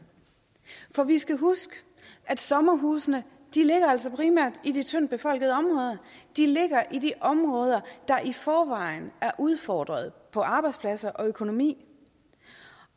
for vi skal huske at sommerhusene altså primært i de tyndt befolkede områder de ligger i de områder der i forvejen er udfordret på arbejdspladser og økonomi